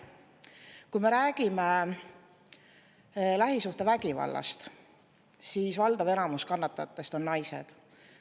Kui me räägime lähisuhtevägivallast, siis valdav enamus kannatajatest on naised.